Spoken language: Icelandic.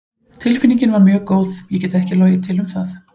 Tilfinningin var mjög góð, ég get ekki logið til um það.